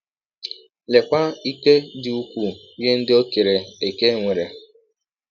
Leekwa ike dị ụkwụụ ihe ndị ọ kere eke nwere!